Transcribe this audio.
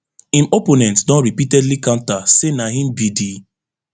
im opponent don repeatedly counter say na im be di